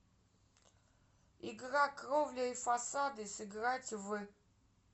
игра кровля и фасады сыграть в